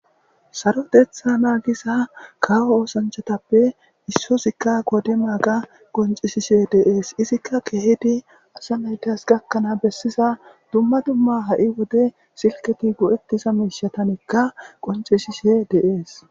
Saroteththa naagiza kawo osanchchatappe issozikka qodimaaga qoncisishe de'es izika keehidi asa naytas gakkana bessiza dumma dumma ha'i wode silketi go'etiza miishshatanikka qoncisishe de'es.